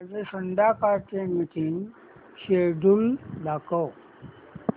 माझे संध्याकाळ चे मीटिंग श्येड्यूल दाखव